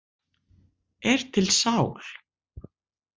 Er til sál?